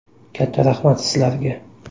Katta rahmat sizlarga!